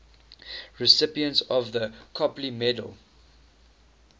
recipients of the copley medal